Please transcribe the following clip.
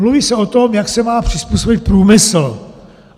Mluví se o tom, jak se má přizpůsobit průmysl.